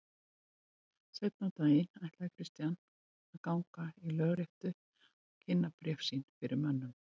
Seinna um daginn ætlaði Christian að ganga í lögréttu og kynna bréf sín fyrir mönnum.